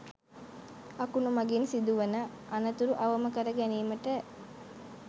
අකුණු මඟින් සිදුවන අනතුරු අවම කර ගැනීමට